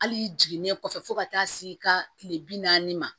Hali jiginnen kɔfɛ fo ka taa se i ka kile bi naani ma